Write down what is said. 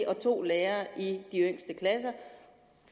og to lærere i de yngste klasser